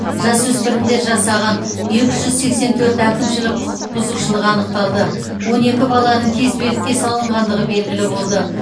жасөспірімдер жасаған екі жүз сексен төрт әкімшілік құқық бұзушылық анықталды он екі баланың кезбелікке салынғандығы белгілі болды